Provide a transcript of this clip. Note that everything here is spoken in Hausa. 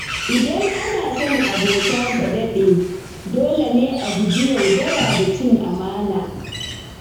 Idan ana son abota ta daɗe, dole ne a guji yaudara da cin amana.